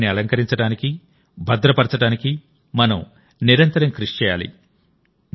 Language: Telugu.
వాటిని అలంకరించడానికి భద్రపరచడానికి మనం నిరంతరం కృషి చేయాలి